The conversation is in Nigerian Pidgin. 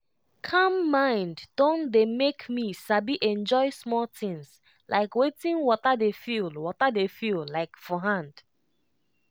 calm mind dey make me sabi enjoy small things like wetin water dey feel water dey feel like for hand.